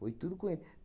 Foi tudo com ele.